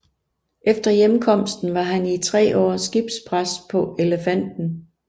Efter hjemkomsten var han i 3 år skibspræst på Elefanten